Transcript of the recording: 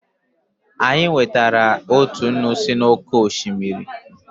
Anyị nwetara otu nnu si n'oké osimiri.